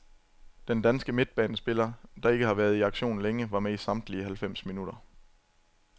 Den danske midtbanespiller, der ikke har været i aktion længe, var med i samtlige halvfems minutter.